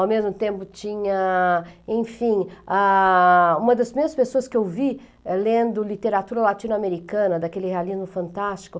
Ao mesmo tempo tinha, enfim, ah... uma das primeiras pessoas que eu vi lendo literatura latino-americana, daquele realismo fantástico.